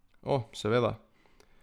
O, seveda.